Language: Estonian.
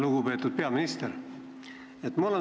Lugupeetud peaminister!